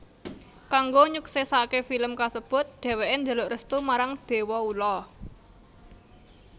Kanggo nyuksèsaké film kasebut dhèwèké njaluk restu marang déwa ula